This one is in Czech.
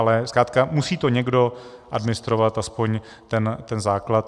Ale zkrátka musí to někdo administrovat, aspoň ten základ.